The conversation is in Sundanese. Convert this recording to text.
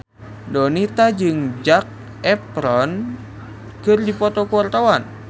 Donita jeung Zac Efron keur dipoto ku wartawan